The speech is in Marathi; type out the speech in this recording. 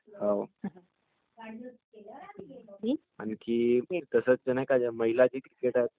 ते जगातील सर्वात नाही का म्हणजे चांगली बॅट्समन आहे तिनी हायेस्ट स्कोअर केलाय..म्हणजे खूप जास्त स्कोअर केलाय तिनी.....